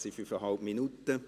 Es sind 5,5 Minuten.